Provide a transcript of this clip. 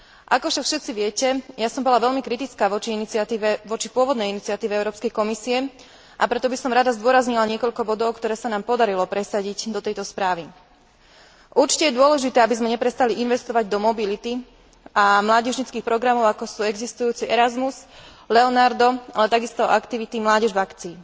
Ako však všetci viete, ja som bola veľmi kritická voči pôvodnej iniciatíve Európskej komisie, a preto by som rada zdôraznila niekoľko bodov, ktoré sa nám podarilo presadiť do tejto správy. Určite je dôležité, aby sme neprestali investovať do mobility a mládežníckych programov, ako sú existujúci Erasmus, Leonardo, ale takisto aktivity Mládež v akcii.